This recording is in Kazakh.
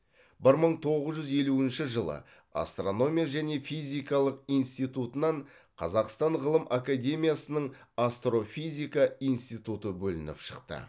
бір мың тоғыз жүз елуінші жылы астрономия және физикалық институтынан қазақстан ғылым академиясының астрофизика институты бөлініп шықты